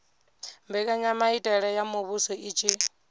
mbekanyamaitele ya muvhuso i tshi